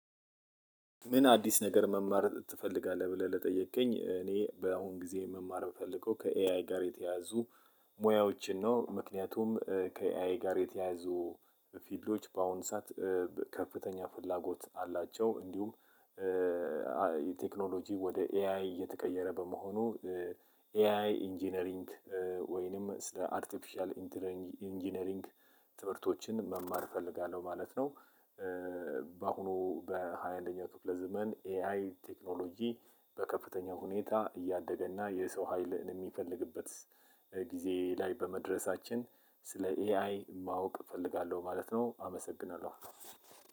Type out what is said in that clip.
ምን? አዲስ ነገር መማርን ትፈልጋለህ ብለህ ለጠየቅከኝ እኔ በአሁን ጊዜ መማር ምፈልገው ከኤአይ ጋር የተያዙ ሙያዎችን ነው። ምክንያቱም ከኤአይ ጋር የተያዙ ፊልዶች በአሁን ሰዓት ከፍተኛ ፍላጎት አላቸው። እንዲሁም ቴክኖሎጂ ወደ ኤአይ እየተቀየረ በመሆኑ ኤአይ ኢንጂነሪንግ ወይንም ስለ አርቲፊሻል ኢንጂነሪንግ ትምህርቶችን መማር እፈልጋለሁ ማለት ነው። በአሁኑ በሃያ አንደኛው ክፍለ ዘመን ኤአይ ቴክኖሎጂ በከፍተኛ ሁኔታ እያደገ እና የሰው ሀይል ለሚፈልግበት ጊዜ ላይ በመድረሳችን ስለ ኤአይ ማወቅ እፈልጋለሁ ማለት ነው። አመሰግናለሁ።